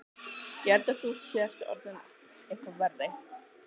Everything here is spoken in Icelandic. Ég held þú sért orðinn eitthvað verri.